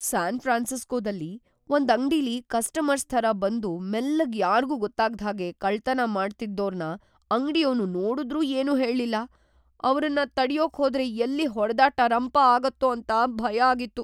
San ಫ್ರಾನ್ಸಿಸ್ಕೋದಲ್ಲಿ ಒಂದ್ ಅಂಗ್ಡಿಲಿ ‌ಕಸ್ಟಮರ್ಸ್‌ ಥರ ಬಂದು ಮೆಲ್ಲಗ್‌ ಯಾರ್ಗೂ ಗೊತ್ತಾಗ್ದ್‌ಹಾಗೆ ಕಳ್ತನ ಮಾಡ್ತಿದ್ದೋರ್ನ ಅಂಗ್ಡಿಯೋನು ನೋಡುದ್ರೂ ಏನೂ ಹೇಳ್ಲಿಲ್ಲ, ಅವ್ರನ್ನ ತಡ್ಯೋಕ್‌ ಹೋದ್ರೆ ಎಲ್ಲಿ ಹೊಡ್ದಾಟ, ರಂಪ ಆಗತ್ತೋ ಅಂತ ಭಯ ಆಗಿತ್ತು.